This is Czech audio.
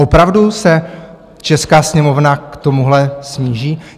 Opravdu se česká Sněmovna k tomuhle sníží?